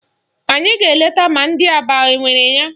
Anyị ga-eleta ma ndị Aba enwere ya